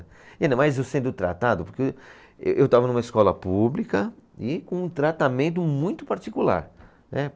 E ainda mais eu sendo tratado, porque eu, eu estava numa escola pública e com um tratamento muito particular, né?